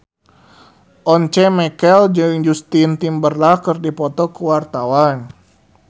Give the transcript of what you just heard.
Once Mekel jeung Justin Timberlake keur dipoto ku wartawan